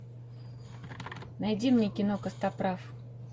найди мне кино костоправ